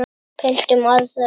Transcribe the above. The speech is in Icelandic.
Pöntum aðra.